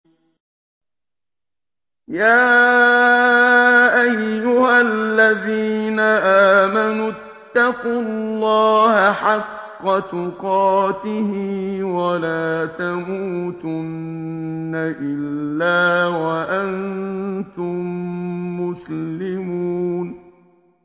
يَا أَيُّهَا الَّذِينَ آمَنُوا اتَّقُوا اللَّهَ حَقَّ تُقَاتِهِ وَلَا تَمُوتُنَّ إِلَّا وَأَنتُم مُّسْلِمُونَ